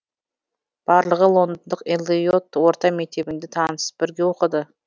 барлығы лондондық эллиот орта мектебінде танысып бірге оқыды